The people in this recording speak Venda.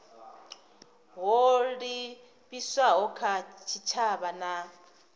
ho livhiswaho kha tshitshavha na